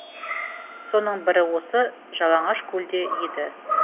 соның бірі осы жалаңашкөлде еді